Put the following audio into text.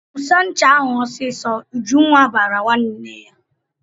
"Tụsa ncha ahụ ọsịsọ!" Ujunwa bara nwanne ya.